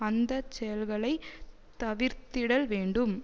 அந்த செயல்களை தவிர்த்திடல் வேண்டும்